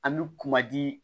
An bɛ kuma di